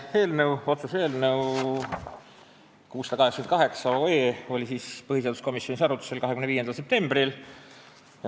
Oluline otsuse eelnõu 688 oli põhiseaduskomisjonis arutlusel 25. septembril.